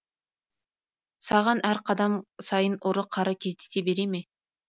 саған әр қадам сайын ұры қары кездесе бере ме